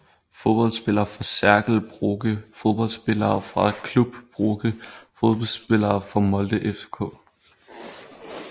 Fodboldspillere fra Cercle Brugge Fodboldspillere fra Club Brugge Fodboldspillere fra Molde FK